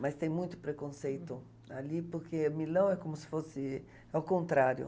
Mas tem muito preconceito ali, porque Milão é como se fosse... É o contrário.